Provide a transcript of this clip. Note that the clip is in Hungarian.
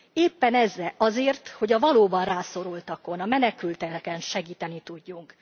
Éppen azért, hogy a valóban rászorultakon, a menekülteken segíteni tudjunk.